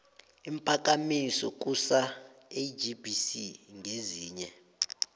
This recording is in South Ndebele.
iimphakamiso kusalgbc ngezinye